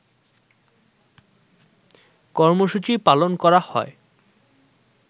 কর্মসূচি পালন করা হয়